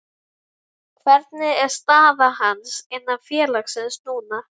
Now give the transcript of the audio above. Hvernig er staða hans innan félagsins núna?